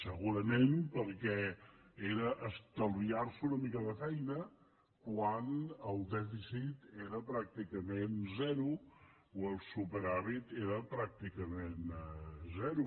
segurament perquè era estalviar·se una mica de feina quan el dèficit era pràcticament zero o el superàvit era pràcticament zero